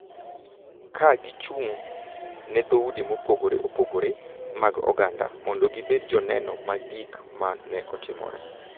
Ka gichung’ ne dhoudi mopogore opogore mag oganda, mondo gibed joneno mag gik ma ne otimore,